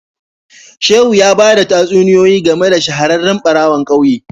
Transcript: Shehu ya bada tatsuniyoyi game da shahararren barawon kauye